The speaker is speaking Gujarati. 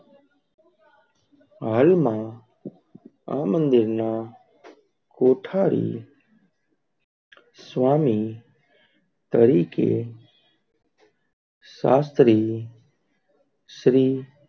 હાલ માં આ મંદિર ના કૌઠાલિ સ્વામી તરીકે શાસ્ત્રી શ્રી,